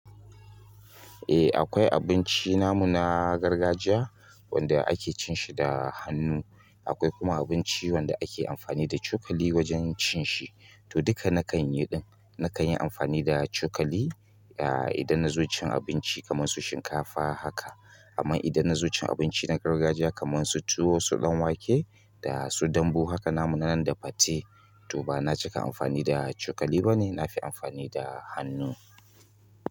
Eh akwai abinci namu na gargajiya wanda ake cin shi da hannu. Akwai kuma abinci wanda ake amfani da cokali wajen cin shi. To duka nakan yi ɗin. Nakan yi amfani da cokali, ah idan na zo cin abinci kamar su shinkafa haka. Amma idan na zo cin abinci na gargajiya kamar su tuwo, su ɗanwake da su dambu haka namu na nan da fate. To bana cika amfani da cokali bane nafi amfani da hannu.